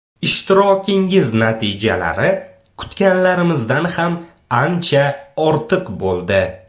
Ishtirokingiz natijalari kutganlarimizdan ham ancha ortiq bo‘ldi.